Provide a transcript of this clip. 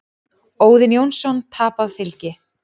Óðinn Jónsson: Tapað fylgi.